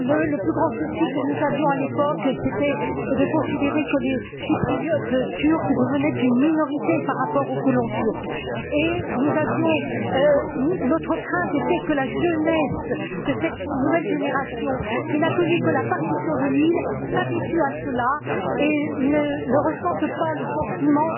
Le plus grand souci que nous avions à l'époque, c'était de constater que les Chypriotes turcs devenaient une minorité par rapport aux colons turcs et notre crainte était que la jeunesse, que cette nouvelle génération qui n'a connu que la partition de l'île s'habitue à cela et ne ressente pas de sentiment